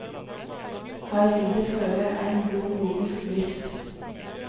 Her ligg det føre ein grov logisk brist.